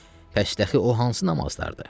Bəs ki, o hansı namazlardır?